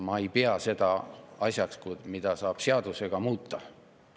Ma ei pea seda asjaks, mida saab seadusega muuta.